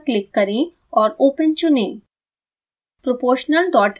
file menu पर click करें और open चुनें